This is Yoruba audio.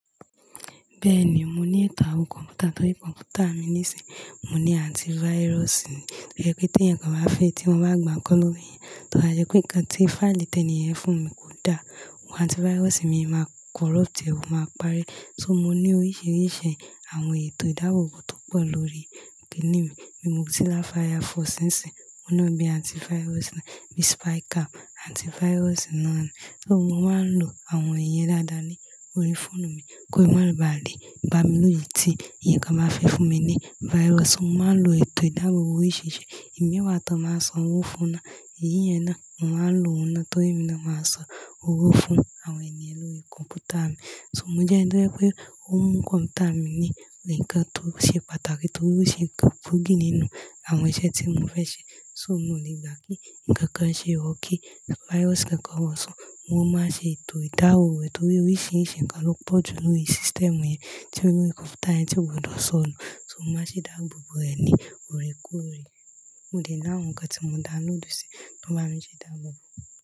Bẹ́ẹ̀ni, mo ní ètò àwọn kọ̀m̀pútà tó rí kọ̀m̀pútà mi níìsín. Mo ní antivirus. Tóbá jẹ́ pé tí èyàn kan bá fẹ̀, tí wọ́n bá gbà nǹkan lọ́wọ́ èyàn, tò bàjẹ́ pé nǹkan tí fáìlì tẹ́nìyàn fún mi kò dá, àwọn antivirus mi máa corrupt, è o máa pare. So mo ní oríṣiríṣi àwọn ètò ìdábobọ́ tó pọ̀ lórí kin ní mi. Bí mozilla firefox nsin, òun náà bí antivirus ni, bí spy cam antivirus náà ni. So mo máa ń lo àwọn iyẹn dáadáa ní orí fóònù mi, kó ma loba le bá mi lójijì tí èyànkan bá fẹ́ fún mi ní virus. Mo máa ń lo ètò ìdábobọ́ oríṣiríṣi. Ìmíwà tó máa san owó fún un náà. Èyí yẹn náà, mo máa ń lo òun náà torí èmi náà máa san owó fún àwọn ènìyàn lórí kọ̀m̀pútà mi. So mo jẹ́ ẹnu tó jẹ́ wí pé òmu kọ̀m̀pútà mi ní ǹkan tó ṣe pàtàkì torí ó ṣe é tó kpogì nínú àwọn iṣẹ́ tí mo fẹ́ ṣe. So mi ò lè gbà kí ǹkan kan ṣe or kí virus kankan wọ̀ san. Mo máa ń ṣe ètò ìdábobọ́ rẹ̀ torí oríṣiríṣi ǹkan ló pọ̀jù nínú system yẹn, tí nínú kọ̀m̀pútà yẹn tí ó gbọ́dọ̀ sọ nù. So mo máa ń ṣe idábobò rẹ̀ ní òre kore. Mo dẹ̀ ní àwọn ǹkan tí mo download sí, tó bá mí i ṣe idábobò.